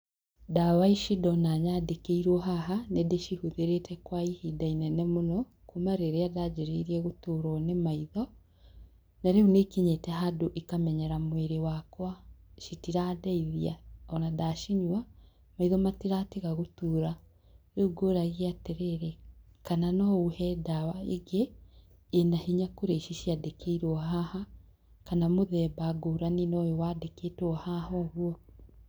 Ndawa ici ndona nyandĩkĩirwo haha, nĩ ndĩcihũthĩrĩte kwa ihinda inene mũno, kuuma rĩrĩa nda anjĩrĩirie gũturwo nĩ maitho. Na rĩu nĩ ikinyite handũ ikamenyera mwĩrĩ wakwa. Citirandeithia, o na ndacinyua, maitho matiratiga gũtura. Rĩu ngũũragia atĩrĩrĩ, kana no ũhe ndawa ingĩ, ĩna hinya gũkĩra ici ciandikĩirwo haha, kana mũthemba ngũrani na ũyũ wandĩkĩtwo haha ũguo.